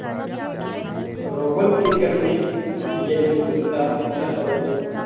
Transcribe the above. रोहन के घर में येल्लू बनता है और